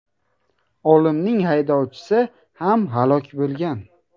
Olimning haydovchisi ham halok bo‘lgan.